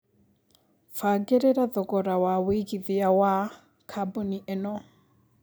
mbangĩrira thogora wa wĩigĩthĩa wa kambuni ĩno